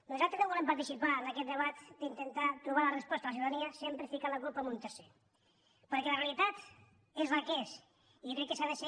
nosaltres no volem participar en aquest debat d’intentar trobar la resposta a la ciutadania sempre ficant la culpa a un tercer perquè la realitat és la que és i jo crec que s’ha de ser